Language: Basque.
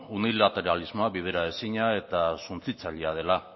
unilateralismoa bideraezina eta suntsitzailea dela